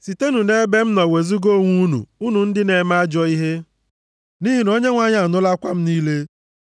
Sitenụ nʼebe m nọ wezuga onwe unu, unu ndị na-eme ajọ ihe, nʼihi na Onyenwe anyị anụla akwa m niile.